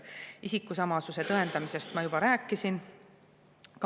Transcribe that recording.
Isikusamasuse tõendamisest ma juba rääkisin.